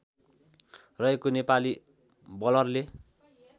रहेको नेपाली बलरले